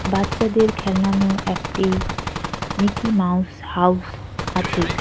বাচ্চাদের খেলানো একটি মিকি মাউস হাউজ আছে।